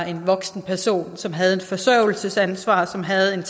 en voksen person som havde et forsørgelsesansvar og som havde